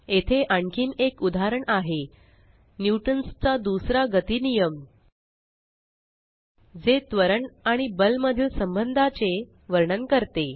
येथे आणखीन एक उदाहरण आहे न्यूटन चा दुसरा गती नियम Newton's second law of motion जे त्वरण आणि बल मधील संबंधाचे वर्णन करते